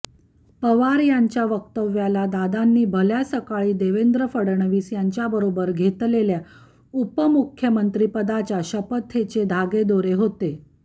पवार यांच्या वक्तव्याला दादांनी भल्या सकाळी देवेंद्र फडवणीस यांच्याबरोबर घेतलेल्या उपमुख्यमंत्रीपदाच्या शपथेचे धागेदोरे होते